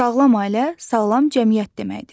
Sağlam ailə sağlam cəmiyyət deməkdir.